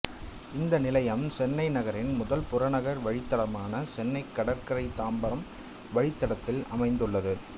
இந்த நிலையம் சென்னை நகரின் முதல் புறநகர் வழித்தடமான சென்னைக் கடற்கரை தாம்பரம் வழித்தடத்தில் அமைந்துள்ளது